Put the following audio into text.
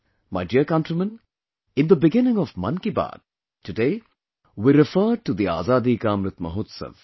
My dear countrymen, in the beginning of 'Mann Ki Baat', today, we referred to the Azadi ka Amrit Mahotsav